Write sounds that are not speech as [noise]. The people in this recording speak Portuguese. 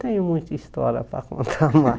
Tenho muita história para [laughs] contar lá